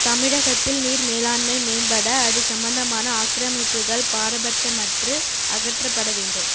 தமிழகத்தில் நீர் மேலாண்மை மேம்பட அது சம்பந்தமான ஆக்கிரமிப்புகள் பாரபட்சமற்று அகற்றப்பட வேண்டும்